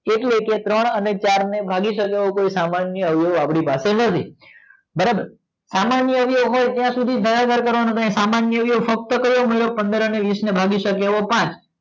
એટલે કે ત્રણ અને ચાર ને ભાગી સકે એવો કોઈ સામાન્ય અવયવ અપડી પાસે નથી બરોબર સામન્ય અવયવ હોય ત્યાં સુધી જ ભાગાકાર કરવાનું સામાન્ય અવયવ ફક્ત કયો પંદર અને વીસ ને ભાગી સકે એવો પાંચ